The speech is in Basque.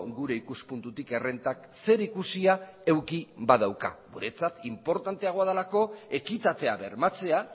gure ikuspuntutik errentak zerikusia eduki badauka guretzat inportanteagoa delako ekitatea bermatzea